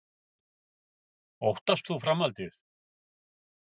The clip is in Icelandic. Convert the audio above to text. Guðný: Óttast þú framhaldið?